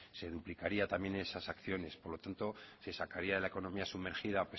se duplicarían también esas acciones por lo tanto se sacaría de la economía sumergida